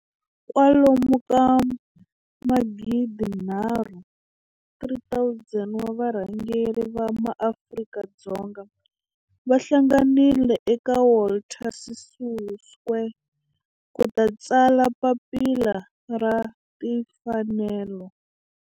Kwalomu ka magidi nharhu, 3 000, wa varhangeri va maAfrika-Dzonga va hlanganile eka Walter Sisulu Square ku ta tsala Papila ra Tinfanelo.